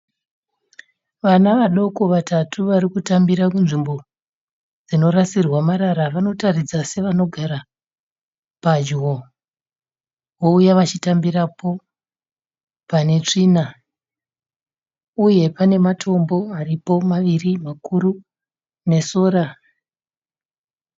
Vana vaduku vatatu varitakumbira kunzvimbo dzinorasirwa marara, vanotaridza sevanogara pedyo, vouya vachitambapo panetsvina, uye pane matombo maviri makuru aripo nesora.